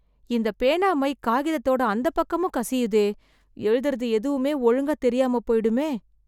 இந்தப் பேனா மை காகிதத்தோட அந்தப் பக்கமும் கசியுதே. எழுதுறது எதுவுமே ஒழுங்கா தெரியாமப் போயிடுமே!